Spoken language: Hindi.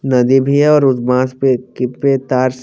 नदी भी है और उद माँस पे के प्रे के तार से--